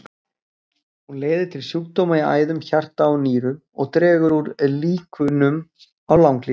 Hún leiðir til sjúkdóma í æðum, hjarta og nýrum og dregur úr líkunum á langlífi.